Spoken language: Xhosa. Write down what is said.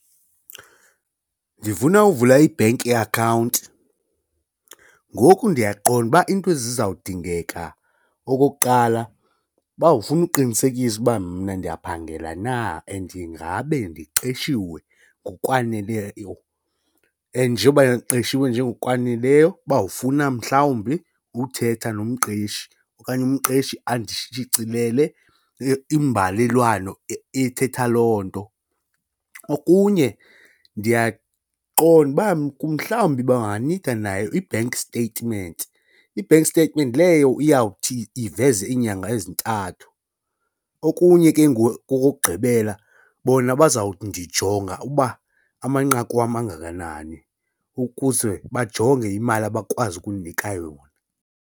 Ndifuna uvula i-bank ye-account ngoku ndiyaqonda ukuba into ezizawudingeka okokuqala bawufuna uqinisekisa uba mna ndiyaphangela na, and ingabe ndiqeshiwe ngokwaneleyo and njengoba eqeshiwe nje ngokwaneleyo bawufuna mhlawumbi uthetha nomqeshi okanye umqeshi andishicilele imbalelwano ethetha loo nto. Okunye ndiyaqonda uba mhlawumbi banganida nayo i-bank statement, i-bank statement leyo iyawuthi iveze iinyanga ezintathu. Okunye ke ngoku okokugqibela bona bazawujonga uba amanqaku wam angakanani ukuze bajonge imali abakwazi ukundinika yona.